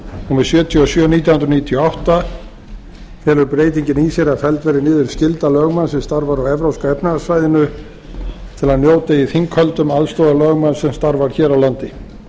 númer sjötíu og sjö nítján hundruð níutíu og átta felur breytingin í sér að felld verði niður skylda lögmanns sem starfar á evrópska efnahagssvæðinu til að njóta í þinghöldum aðstoðar lögmanns sem starfar hér á landi